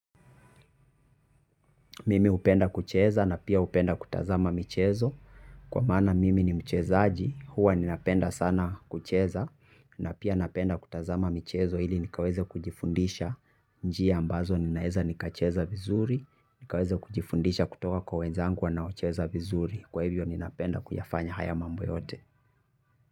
Mimi hupenda kucheza na pia hupenda kutazama michezo kwa maana mimi ni mchezaji, huwa ninapenda sana kucheza na pia napenda kutazama michezo ili nikaweze kujifundisha njia ambazo ninaweza nikacheza vizuri, nikaweze kujifundisha kutoka kwa wenzangu wanaocheza vizuri. Kwa hivyo ninapenda kuyafanya haya mambo yote.